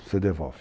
Você devolve.